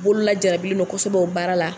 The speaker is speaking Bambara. Bolo la jarabilen don kosɛbɛ o baara la.